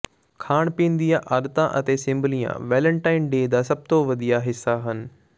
ਖਾਣ ਪੀਣ ਦੀਆਂ ਆਦਤਾਂ ਅਤੇ ਸਿੰਬਲੀਆਂ ਵੈਲਨਟਾਈਨ ਡੇ ਦਾ ਸਭ ਤੋਂ ਵਧੀਆ ਹਿੱਸਾ ਹਨ